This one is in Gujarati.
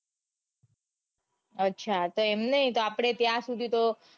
અચ્છા તો એમ નઈ આપડે ત્યાં સુધી તો